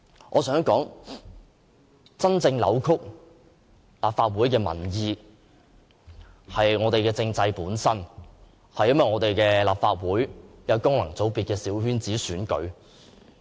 我想說，真正扭曲民意的，是我們的政制本身、是立法會功能界別的小圈子選舉。